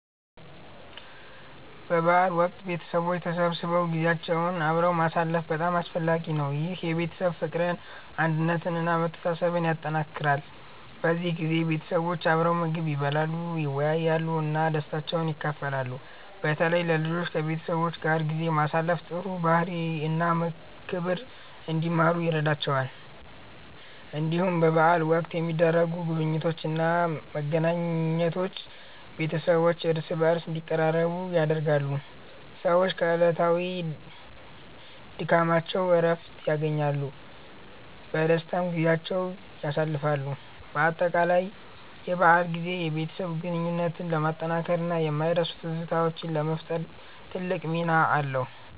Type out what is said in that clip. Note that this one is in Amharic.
በበዓል ወቅት ቤተሰቦች ተሰብስበው ጊዜያቸውን አብረው ማሳለፍ በጣም አስፈላጊ ነው። ይህ የቤተሰብ ፍቅርን፣ አንድነትን እና መተሳሰብን ያጠናክራል። በዚህ ጊዜ ቤተሰቦች አብረው ምግብ ይበላሉ፣ ይወያያሉ እና ደስታቸውን ይካፈላሉ። በተለይ ለልጆች ከቤተሰብ ጋር ጊዜ ማሳለፍ ጥሩ ባህሪ እና ክብር እንዲማሩ ይረዳቸዋል። እንዲሁም በበዓል ወቅት የሚደረጉ ጉብኝቶች እና መገናኘቶች ቤተሰቦች እርስ በርስ እንዲቀራረቡ ያደርጋሉ። ሰዎች ከዕለታዊ ድካማቸው እረፍት ያገኛሉ፣ በደስታም ጊዜያቸውን ያሳልፋሉ። በአጠቃላይ የበዓል ጊዜ የቤተሰብ ግንኙነትን ለማጠናከር እና የማይረሱ ትዝታዎችን ለመፍጠር ትልቅ ሚና አለው።